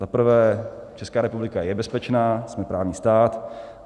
Za prvé, Česká republika je bezpečná, jsme právní stát.